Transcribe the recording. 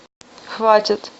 хватит